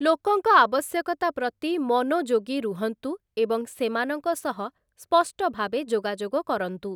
ଲୋକଙ୍କ ଆବଶ୍ୟକତା ପ୍ରତି ମନୋଯୋଗୀ ରୁହନ୍ତୁ ଏବଂ ସେମାନଙ୍କ ସହ ସ୍ପଷ୍ଟ ଭାବେ ଯୋଗାଯୋଗ କରନ୍ତୁ ।